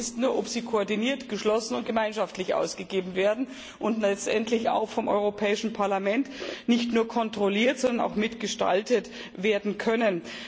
Die Frage ist nur, ob sie koordiniert, geschlossen und gemeinschaftlich ausgegeben werden und letztendlich vom Europäischen Parlament nicht nur kontrolliert, sondern auch mitgestaltet werden können.